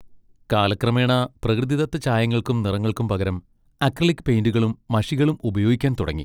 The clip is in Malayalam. കാലക്രമേണ പ്രകൃതിദത്ത ചായങ്ങൾക്കും ' നിറങ്ങൾക്കും പകരം അക്രിലിക് പെയിന്റുകളും മഷികളും ഉപയോഗിക്കാൻ തുടങ്ങി.